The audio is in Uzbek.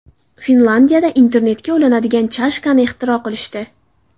Finlyandiyada internetga ulanadigan chashkani ixtiro qilishdi.